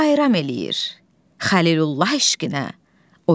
bayram eləyir Xəlilullah eşqinə.